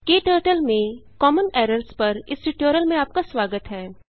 क्टर्टल में common errors पर इस ट्यूटोरियल में आपका स्वागत है